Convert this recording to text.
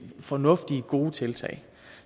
fornuftige gode tiltag